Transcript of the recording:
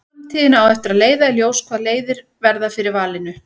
Framtíðin á eftir að leiða í ljós hvaða leiðir verða fyrir valinu.